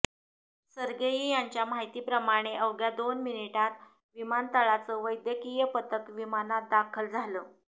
Sergei यांच्या माहितीप्रमाणे अवघ्या दोन मिनिटात विमानतळाचं वैद्यकीय पथक विमानात दाखल झालं